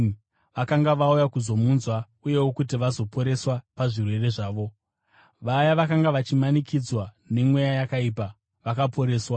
vakanga vauya kuzomunzwa uyewo kuti vazoporeswa pazvirwere zvavo. Vaya vakanga vachimanikidzwa nemweya yakaipa vakaporeswa,